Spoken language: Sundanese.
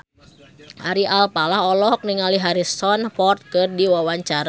Ari Alfalah olohok ningali Harrison Ford keur diwawancara